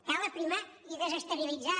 cal aprimar i desestabilitzar